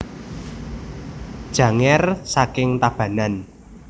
Janger saking Tabanan